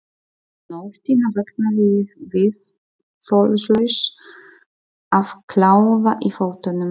Um nóttina vaknaði ég viðþolslaus af kláða í fótunum.